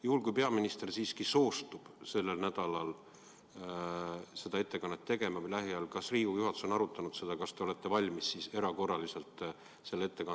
Juhul kui peaminister siiski soostub sellel nädalal või lähiajal seda ettekannet tegema, kas te olete valmis erakorraliselt selle ettekande lülitama töönädala päevakorda?